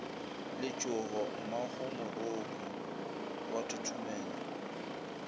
letšhogo mmagomoroko o a thothomela